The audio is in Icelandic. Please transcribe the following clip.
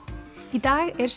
í dag er